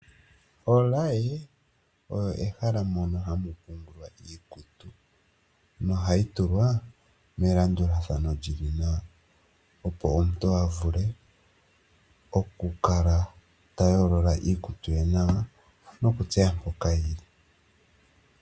Olaye oyo mehala mono hamu pungulwa iikutu, nohayi tulwa melandulathano lyili nawa, opo omuntu a vule okukala ta yoolola iikutu ye nawa nokutseya mpoka yili.